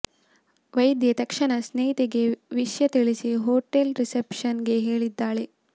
ವೈದ್ಯೆ ತಕ್ಷಣ ಸ್ನೇಹಿತೆಗೆ ವಿಷ್ಯ ತಿಳಿಸಿ ಹೊಟೇಲ್ ರಿಸೆಪ್ಶನ್ ಗೆ ಹೇಳಿದ್ದಾಳೆ